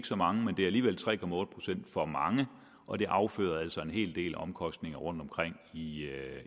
så mange men det er alligevel tre procent for mange og det afføder altså en hel del omkostninger rundtomkring i